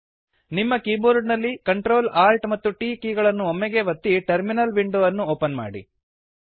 ನಿಮ್ಮ ಕೀಬೋರ್ಡ ನಲ್ಲಿ Ctrl Alt ಮತ್ತು T ಕೀ ಗಳನ್ನು ಒಮ್ಮೆಗೇ ಒತ್ತಿ ಟರ್ಮಿನಲ್ ವಿಂಡೊ ಅನ್ನು ಓಪನ್ ಮಾಡಿ